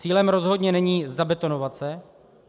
Cílem rozhodně není zabetonovat se.